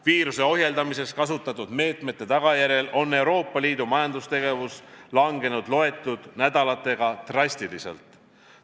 Viiruse ohjeldamiseks kasutatud meetmete tagajärjel on Euroopa Liidu majandustegevus langenud loetud nädalatega drastiliselt.